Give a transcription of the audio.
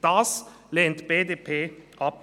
Das lehnt die BDP ab.